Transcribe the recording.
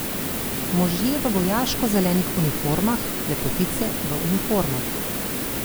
Možje v vojaško zelenih uniformah, lepotice v uniformah.